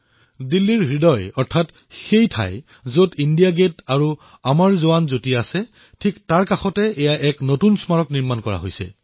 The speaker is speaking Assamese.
দিল্লীৰ হৃদপিণ্ড অৰ্থাৎ সেই স্থান যত ইণ্ডিয়া গেট আৰু অমৰ যোৱান জ্যোতি আছে তাৰে ঠিক কাষতেই এই নতুন স্মাৰক নিৰ্মাণ কৰা হৈছে